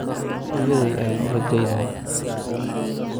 Hooyaday ayaan u rajaynayaa